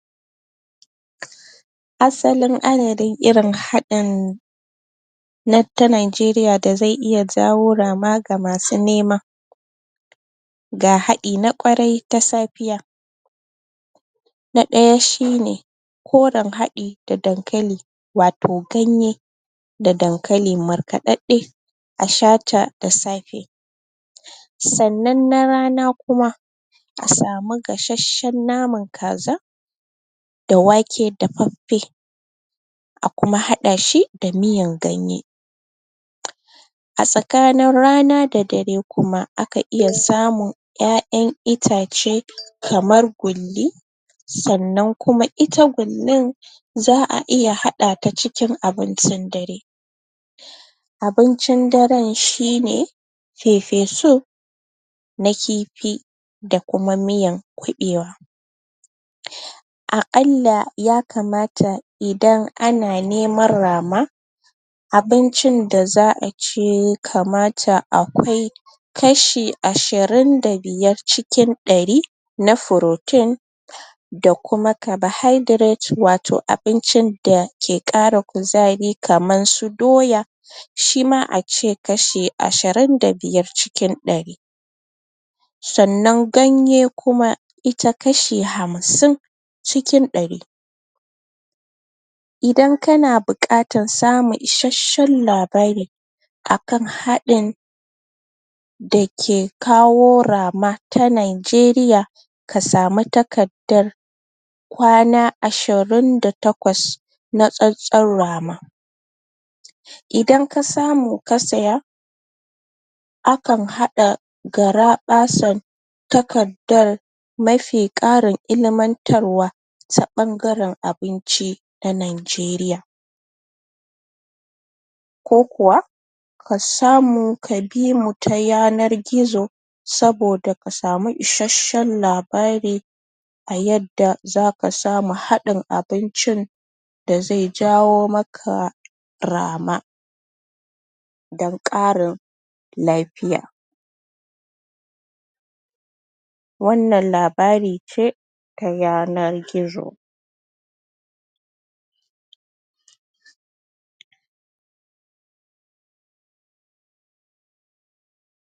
Um asalin adadin irin hadin na ta nigeriya da ze iya jawo rama ga masu nema ga hadi na kwarai ta safiya na daya shine koren hafi da dankali wato ganye da dankali markadadde a shata da safe sannan na rana kuma a samu gasashshen naman kaza da wake dafaffe akuma hada shi da miyan ganye um a tsakanin rana da dare kuma akan iya samun yayan itace kamar gulli sannan kuma ita gullin za'a iya hadata cikin abincin dare abincin daren shine fefesup na kifi da kuma miyan kubewa um a kalla yakamata idan ana neman rama abincin da za'a ci kamata akwai kashi ashirin da biyar cikin dari na furotin um da kuma kabohaidret wato abincin da ke kara kuzari kamar su doya um shima ace kashi ashirin da biyar cikin dari sannan ganye kuma ita kashi hamsin cikin dari idan kana bukatan samun isashshen labari akan hadin dake kawo rama ta nigeriya ka samu takardar kwana ashirin da takwas na tsantsan rama idan ka samu ka siya akan hada garabasan takardar mafi karin ilmantarwa ta bangaren abinci na nigeriya ko kuwa kasamu ka bimu ta yanan gizo saboda kasamu isashshen labari a yadda zaka samu hadin abincin da ze jawo maka rama don karin lafiya wannan labari ce ta yanar gizo